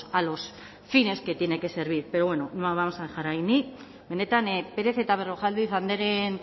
a los fines que tiene que servir pero bueno lo vamos a dejar ahí ni benetan pérez eta berrojalbiz andreen